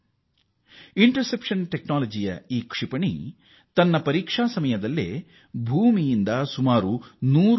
ಅದರ ಪರೀಕ್ಷೆಯ ವೇಳೆ ಬೇಧಿಸುವ ತಂತ್ರಜ್ಞಾನದ ಈ ಕ್ಷಿಪಣಿ ಭೂ ಮೇಲ್ಮೈನಿಂದ 100 ಕಿ